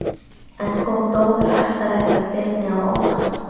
En kom dómur Hæstaréttar Birni á óvart?